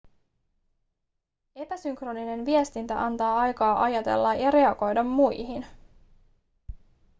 epäsynkroninen viestintä antaa aikaa ajatella ja reagoida muihin